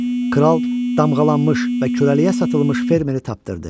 Kral damğalanmış və kürəliyə satılmış fermeri tapdırdı.